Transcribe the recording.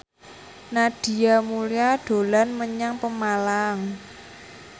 Nadia Mulya dolan menyang Pemalang